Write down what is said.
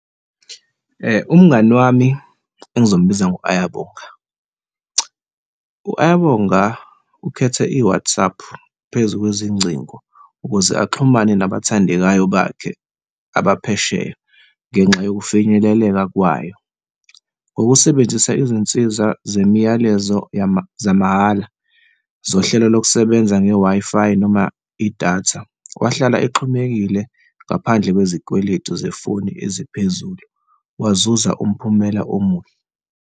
Umngani wami engizombiza ngo-Ayabonga. U-Ayabonga ukhethe i-WhatsApp phezu kunezingcingo ukuze axhumane nabathandekayo bakhe abaphesheya ngenxa yokufinyeleleka kwayo, ngokusebenzisa izinsiza zemiyalezo zamahhala zohlelo lokusebenza nge-Wi-Fi noma idatha, wahlala exhumekile ngaphandle kwezikweletu zefoni eziphezulu, wazuza umphumela omuhle.